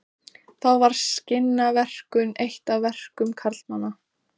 Þá var skinnaverkun eitt af verkum karlmanna.